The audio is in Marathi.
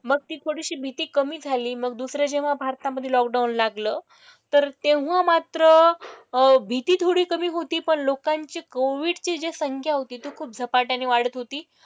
मग ती थोडीशी भीती कमी झाली. मग दुसरं जेव्हा भारतामधे लॉकडाउन लागलं तर तेव्हा मात्र अह भीती थोडी कमी होती पण लोकांची कोविडची जी संख्या होती ती खूप झपाट्याने वाढत होती.